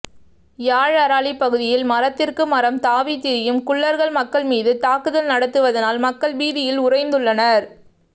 யாழ் அராலி பகுதியில் மரத்திற்கு மரம் தாவி திரியும் குள்ளர்கள் மக்கள் மீது தாக்குதல் நடத்துவதனால் மக்கள் பீதியில் உரைந்துள்ளனர்